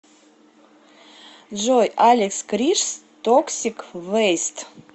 джой алекс кришс токсик вэйст